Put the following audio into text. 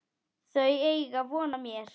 Þau eiga von á mér.